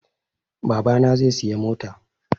Babana zai siya mota